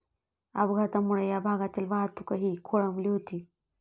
अपघातामुळे या भागातील वाहतूकही खोळंबली होती.